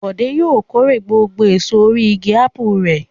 Bọ̀dé yóò kórè gbogbo èso orí igi ápù rẹ̀.